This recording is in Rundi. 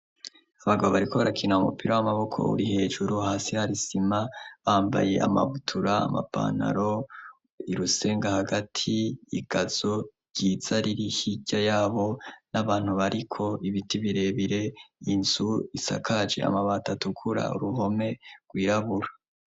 Abagabo bariko rakina mu mupira w'amaboko uri hejuru hasi harisima bambaye amabutura amapanaro irusenga hagati igazo ryiza riri ihirya yabo n'abantu bariko ibiti birebire inzu isakaje amabata atukura ruhome rwirabura.